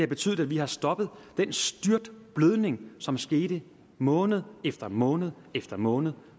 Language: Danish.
betydet at vi har stoppet den styrtblødning som skete måned efter måned efter måned